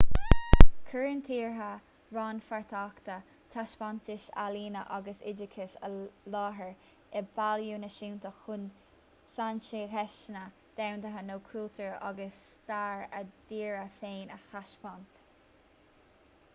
cuireann tíortha rannpháirteacha taispeántais ealaíne agus oideachais i láthair i bpailliúin náisiúnta chun saincheisteanna domhanda nó cultúr agus stair a dtíre féin a thaispeáint